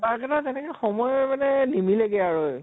পাক এটা তেনেকে, সময় মানে নিমিলেগে আৰু